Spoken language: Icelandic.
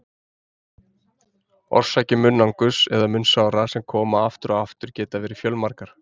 Orsakir munnangurs eða munnsára sem koma aftur og aftur geta verið fjölmargar.